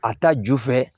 A ta ju fɛ